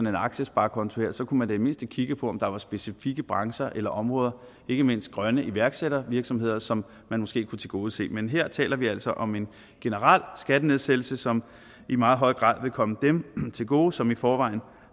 en aktiesparekonto kunne man i mindste kigge på om der var specifikke brancher eller områder ikke mindst grønne iværksættervirksomheder som man måske kunne tilgodese men her taler vi altså om en generel skattenedsættelse som i meget høj grad vil komme dem til gode som i forvejen